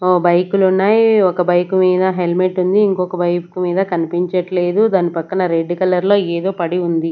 ఓ బైకులున్నాయ్ ఒక బైక్ మీద హెల్మెట్ ఉంది ఇంకొక బైక్ మీద కనిపించట్లేదు దాని పక్కన రెడ్ కలర్లో ఏదో పడి ఉంది.